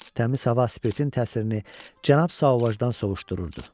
Təmiz hava spirtin təsirini Cənab Sauvagedan soyuşdururdu.